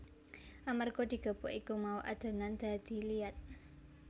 Amarga digepuk iku mau adonan dadi liat